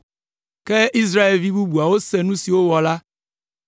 Ke esi Israelvi bubuawo se nu si wowɔ la,